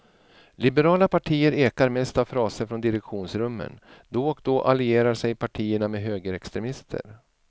Liberala partier ekar mest av fraser från direktionsrummen, då och då allierar sig partierna med högerextremister.